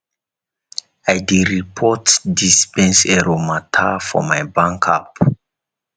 i dey report dispense error mata for my bank app